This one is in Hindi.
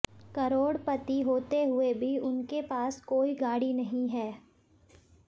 करोड़पति होते हुए भी उनके पास कोई गाड़ी नहीं है